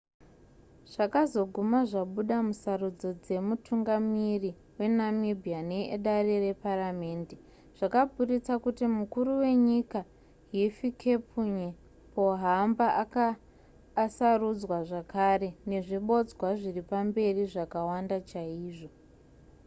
zvakazoguma zvabuda musarudzo dzemutungamiri wenamibia needare reparamhende zvakaburitsa kuti mukuru wenyika hifikepunye pohamba anga asarudzwa zvakare nezvibodzwa zviripamberi zvakawanda chaizvo